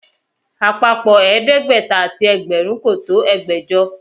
Àpapọ̀ ẹ̀ẹ́dẹ́gbẹ̀ta àti ẹgbẹ̀rún kò tó ẹgbẹ̀jọ